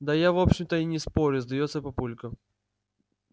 да я в общем-то и не спорю сдаётся папулька